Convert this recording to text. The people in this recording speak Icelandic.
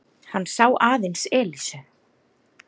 Hann sá aðeins Elísu.